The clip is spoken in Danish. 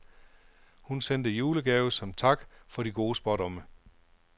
Hun sendte julegave som tak for de gode spådomme.